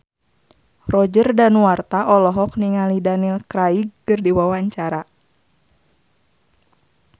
Roger Danuarta olohok ningali Daniel Craig keur diwawancara